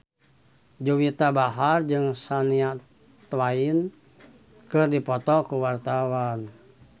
Juwita Bahar jeung Shania Twain keur dipoto ku wartawan